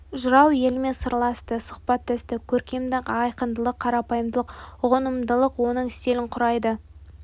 жырау елімен сырласты сұхбаттасты көркемдік айқындылық қарапайымдылық ұғынымдылық оның стилін құрайды